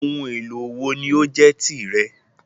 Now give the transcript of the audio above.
Oun èlò wo ni o jẹ tí rẹ?